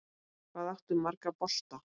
Hvað áttu marga bolta?